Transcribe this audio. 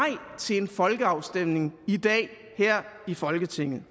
til en folkeafstemning i dag her i folketinget